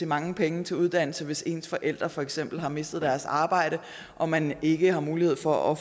mange penge til uddannelse hvis ens forældre for eksempel har mistet deres arbejde og man ikke har mulighed for at